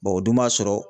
o dun b'a sɔrɔ